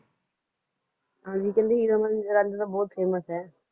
ਹਾਂਜੀ ਕੇਹ੍ਨ੍ਡੇ ਹੀਰ ਰਾਂਝਾ ਤਾਂ ਬੋਹਤ ਫਾਮੋਉਸ ਆਯ